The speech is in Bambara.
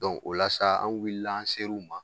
o la sa an wil-la an ser'u ma